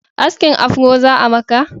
Askin afro za'a maka?